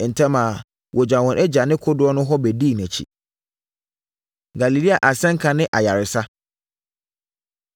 Ntɛm ara, wɔgyaa wɔn agya ne kodoɔ no hɔ bɛdii nʼakyi. Galilea Asɛnka Ne Ayaresa